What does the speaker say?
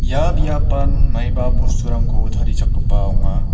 ia biapan maiba bosturangko tarichakgipa ong·a.